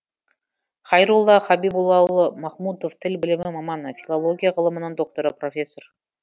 хайрулла хабибуллаұлы махмудов тіл білімі маманы филология ғылымының докторы профессор